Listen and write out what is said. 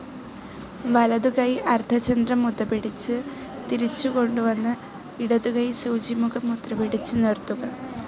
വലതുകൈ അർദ്ധചന്ദ്ര മുദ്ര പിടിച്ച് തിരിച്ചുകൊണ്ടു വന്ന് ഇടതുകൈ സൂചിമുഖ മുദ്ര പിടിച്ച് നിർത്തുക.